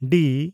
ᱰᱤ